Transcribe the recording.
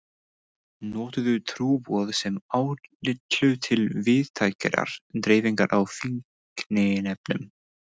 NOTUÐU TRÚBOÐ SEM ÁTYLLU TIL VÍÐTÆKRAR DREIFINGAR Á FÍKNIEFNUM.